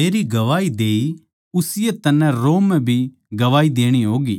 मेरी गवाही देई उसीए तन्नै रोम म्ह भी गवाही देणी होगी